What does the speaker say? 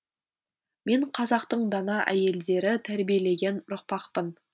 мен қазақтың дана әйелдері тәрбиелеген ұрпақпын